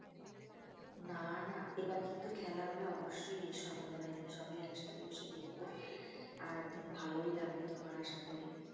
না না এবার কিন্তু খেলা হলে অবশ্যই এসো আমাদের বাড়িতে সবাই একসাথে বসে দেখবো আর ভালোও লাগবে তোমার আসা করি